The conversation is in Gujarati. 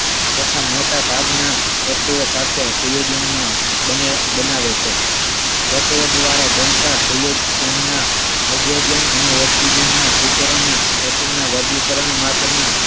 તથા મોટા ભાગના તત્વ સાથે સંયોજનમાં બનાવે છે તત્વ દ્વારા બનતા સંયોજનના હાઇડ્રોજન અને ઓક્સિજનના તત્વના વર્ગીકરણ માટેના